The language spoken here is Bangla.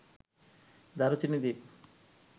দারুচিনি দ্বীপ